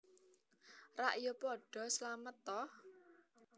Rak ya padha slamet ta